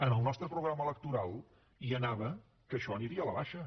en el nostre programa electoral hi anava que això aniria a la baixa